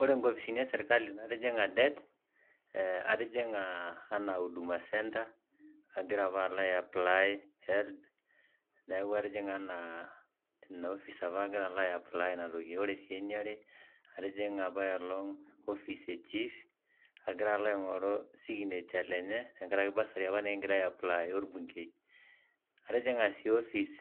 Ore nkopisini ee serkali natijing'a det, eeh atijinga anaa Huduma Center agiraa apa alo apply HELB, neeku atijing'a anaa ina ofice agira aigoru ina toki , ore sii ee niare , atijinga apa ailong ofice ee Chief, agira alo aing'oru signature lenye te nkaraki bursary apa nikingira ai apply orbungei, atijing'a sii ofice